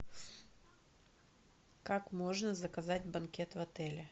как можно заказать банкет в отеле